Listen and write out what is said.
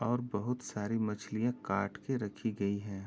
और बोहोत सारे मछलियां काट के रखी गई है।